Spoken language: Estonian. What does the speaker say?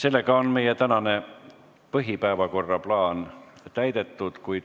Oleme tänase põhipäevakorra küsimused läbi arutanud.